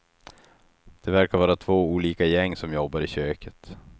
Det verkar vara två olika gäng som jobbar i köket.